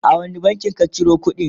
a wani bankin ka Ciro kudin?